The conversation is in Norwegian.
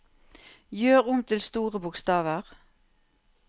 Gjør om til store bokstaver